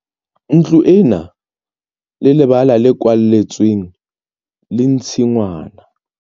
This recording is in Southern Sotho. Ntlo e na le lebala le kwalletsweng le tshingwana.